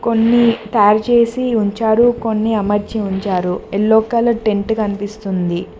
కొన్ని తయారుచేసి ఉంచారు కొన్ని అమర్చి ఉంచారు ఎల్లో కలర్ టెంట్ కనిపిస్తుంది.